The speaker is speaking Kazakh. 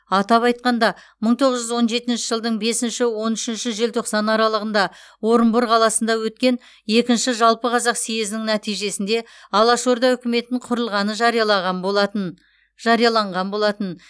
атап айтқанда мың тоғыз жүз он жетінші жылдың бесінші он үшінші желтоқсан аралығында орынбор қаласында өткен екінші жалпықазақ съезінің нәтижесінде алаш орда үкіметін құрылғаны жариялаған болатын жарияланған болатын